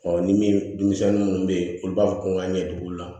ni min denmisɛnnin minnu bɛ yen olu b'a fɔ ko n ka ɲɛtugu la